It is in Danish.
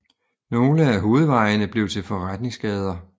Nogle af hovedvejene blev til forretningsgader